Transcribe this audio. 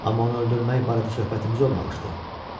Amma onu öldürmək barədə söhbətimiz olmamışdı.